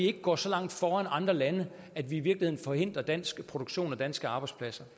ikke går så langt foran andre lande at vi i virkeligheden forhindrer dansk produktion og danske arbejdspladser